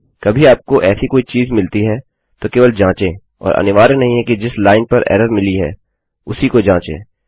यदि कभी आपको ऐसी कोई चीज़ मिलती हैतो केवल जाँचें और अनिवार्य नहीं है कि जिस लाइन पर एरर मिली है उसी को जाँचें